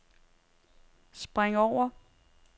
spring over